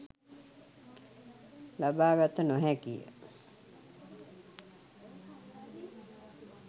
ලබාගත නො හැකි ය.